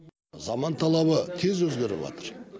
заман талабы тез өзгеріватыр